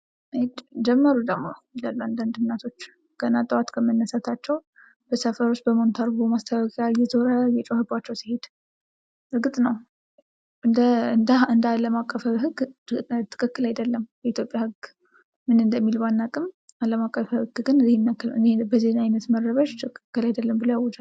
ኤጭ ጀመሩ ደግሞ ይላሉ አንዳንድ እናቶች ገና ጠዋት ከመነሳታቸው ሰፈር ውስጥ በሞንታርቦ ማስተላለፊያ እየዞረ እየጮህባቸው ሲሄድ እርግጥ ነው እንደ አለም አቀፋዊ ህግ ትክክል አይደለም። የኢትዮጵያ ህግ ምን እንደሚል ባናቅም በአለም አቀፋዊ ህግ ግን በዚህ አይነት መረበሸ ትክክል አይደለም ብሎ ያውጃል።